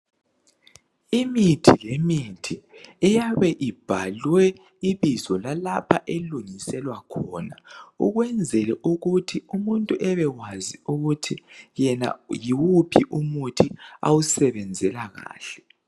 Imithi lemithi iyabe ibhalwe ibizo lalapha elungiselwa khona, ukwenzela ukuthi umuntu abekwazi ukuthi yena yiwuphi umuthi omusebenzela kahle.